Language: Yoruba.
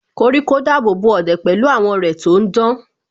Koríko dábòbò ọ̀dẹ̀ pẹ̀lú àwọ́ rẹ̀ tò ń dán